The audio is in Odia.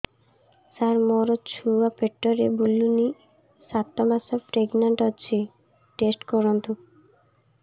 ସାର ମୋର ଛୁଆ ପେଟରେ ବୁଲୁନି ସାତ ମାସ ପ୍ରେଗନାଂଟ ଅଛି ଟେଷ୍ଟ କରନ୍ତୁ